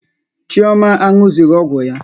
Chioma anụzughi ọgwụ ya.